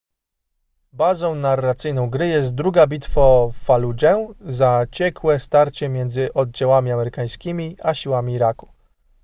bazą narracyjną gry jest druga bitwa o faludżę zaciekłe starcie między oddziałami amerykańskimi a siłami iraku